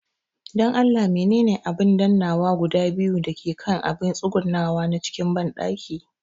Dan Allah menene amfanin abin dannawa guda biyu da ke kan abin tsugunawa na cikin banɗaki